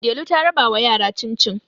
Delu ta rabawa yara cin-cin